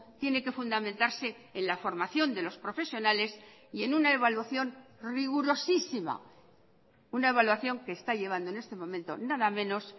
tiene que fundamentarse en la formación de los profesionales y en una evaluación rigurosísima una evaluación que está llevando en este momento nada menos